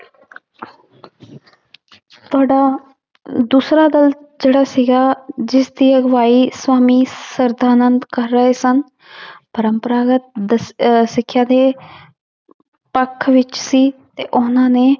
ਦੂਸਰਾ ਦਲ ਜਿਹੜਾ ਸੀਗਾ ਜਿਸਦੀ ਅਗਵਾਈ ਸਵਾਮੀ ਸਰਧਾਨੰਦ ਕਰ ਰਹੇ ਸਨ ਪਰੰਪਰਾਗਤ ਦ~ ਅਹ ਸਿੱਖਿਆ ਦੇ ਪੱਖ ਵਿੱਚ ਸੀ ਤੇ ਉਹਨਾਂ ਨੇ